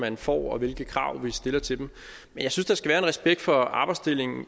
man får og hvilke krav vi stiller til dem men jeg synes der skal være en respekt for arbejdsdelingen